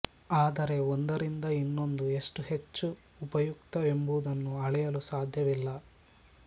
ಆದರೆ ಒಂದರಿಂದ ಇನ್ನೊಂದು ಎಷ್ಟು ಹೆಚ್ಚು ಉಪಯುಕ್ತ ಎಂಬುದನ್ನು ಅಳೆಯಲು ಸಾಧ್ಯವಿಲ್ಲ